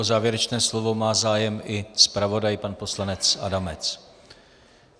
O závěrečné slovo má zájem i zpravodaj pan poslanec Adamec.